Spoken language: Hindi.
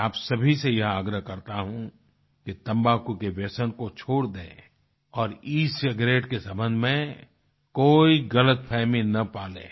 मैं आप सभी से यह आग्रह करता हूँ कि तम्बाकू के व्यसन को छोड़ दें और ई सिगारेट के संबंध में कोई गलत फहमी न पालें